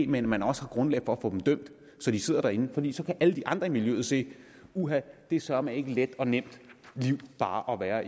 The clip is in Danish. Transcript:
men man har også grundlag for at få dem dømt så de sidder inde fordi så kan alle de andre i miljøet se at det søreme ikke let og nemt liv bare at være